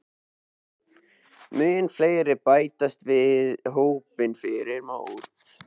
Munu fleiri bætast við hópinn fyrir mót?